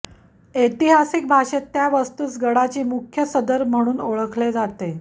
ऐतिहासिक भाषेत त्या वास्तूस गडाची मुख्य सदर म्हणून ओळखले जाते